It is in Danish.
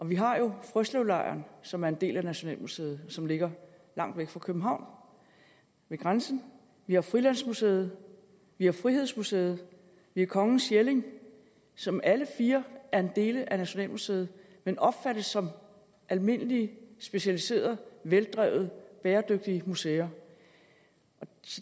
vi har jo frøslevlejren som er en del af nationalmuseet som ligger langt væk fra københavn ved grænsen vi har frilandsmuseet vi har frihedsmuseet vi har kongernes jelling som alle fire er dele af nationalmuseet men opfattes som almindelige specialiserede veldrevne bæredygtige museer